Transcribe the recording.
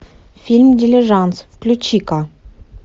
фильм дилижанс включи ка